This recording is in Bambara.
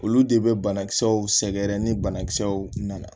Olu de bɛ banakisɛw sɛgɛrɛ ni banakisɛw nana